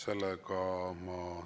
Ei soovi.